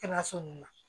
Kɛnɛyaso ninnu na